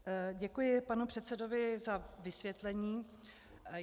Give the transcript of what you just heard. Děkuji panu předsedovi za vysvětlení.